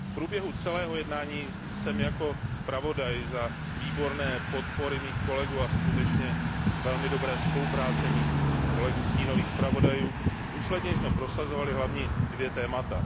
V průběhu celého jednání jsem jako zpravodaj za výborné podpory a na základě skutečně velmi dobré spolupráce mých kolegů, stínových zpravodajů, důsledně prosazoval hlavně dvě témata.